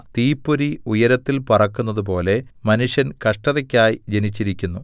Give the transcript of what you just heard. തീപ്പൊരി ഉയരത്തിൽ പറക്കുന്നതുപോലെ മനുഷ്യൻ കഷ്ടതയ്ക്കായി ജനിച്ചിരിക്കുന്നു